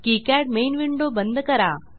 KiCad main window बंद करा